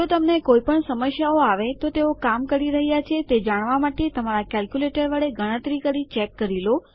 જો તમને કોઇપણ સમસ્યાઓ આવે તેઓ કામ કરી રહ્યાં છે તમારા કેલ્ક્યુલેટર વડે ગણતરીઓ કરી ચેક કરી લો